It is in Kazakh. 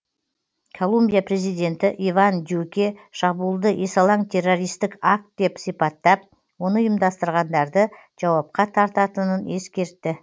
колумбия президенті иван дюке шабуылды есалаң террористік акт деп сипаттап оны ұйымдастырғандарды жауапқа тартатынын ескертті